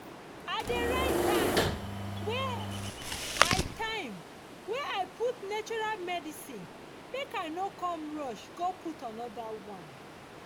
i dey write time wey i time wey i put natural medicine make i no come rush go put anoda one.